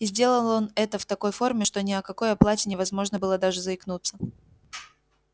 и сделал он это в такой форме что ни о какой оплате невозможно было даже заикнуться